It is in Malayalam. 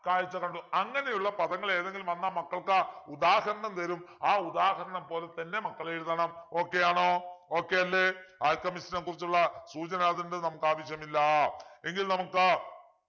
കാഴ്‌ച കണ്ടു അങ്ങനെയുള്ള പദങ്ങൾ ഏതെങ്കിലും വന്നാൽ മക്കൾക്ക് ഉദാഹരണം വരും ആ ഉദാഹരണം പോലെത്തന്നെ മക്കളെഴുതണം okay ആണോ okay അല്ലെ alchemist നെക്കുറിച്ചുള്ള സൂചന അതിൻ്റെ നമുക്കാവശ്യമില്ല എങ്കിൽ നമുക്ക്